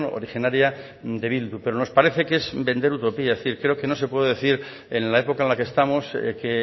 originaria de bildu pero nos parece que es vender utopías es decir creo que no se puede decir en la época en la que estamos que